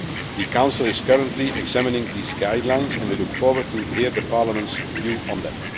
The Council is currently examining these guidelines and we look forward to hearing Parliament's view on them.